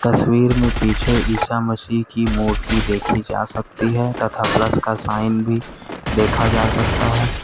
तस्वीर में पीछे ईसा मसीह की मूर्ति देखी जा सकती है तथा प्लस का साइन भी देखा जा सकता है।